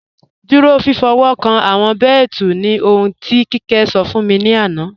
Dúró fífọ̀wọ́kàn awọn bẹẹtù ni ohùn ti Kemi sọ̀ fún mi lánà.